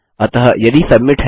अतः यदि सबमिट है